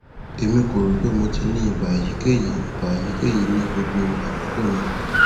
emi ko ro pe mo ti ni iba eyikeyi iba eyikeyi ni gbogbo akoko naa